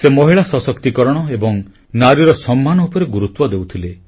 ସେ ମହିଳା ସଶକ୍ତିକରଣ ଏବଂ ନାରୀର ସମ୍ମାନ ଉପରେ ଗୁରୁତ୍ୱ ଦେଉଥିଲେ